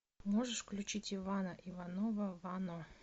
можешь включить ивана иванова вано